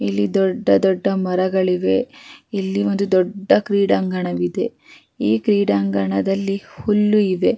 ಇಲ್ಲಿ ದೊಡ್ಡ ದೊಡ್ಡ ಮರಗಳಿವೆ ಇಲ್ಲಿ ಒಂದು ಕ್ರೀಂಡಾಗಣವಿದೆ ಈ ಕ್ರೀಂಡಾಗಣದಲ್ಲಿ ಹುಲ್ಲು ಇದೆ.